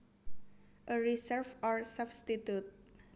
A reserve or substitute